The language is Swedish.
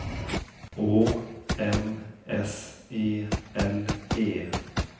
Å M S E L E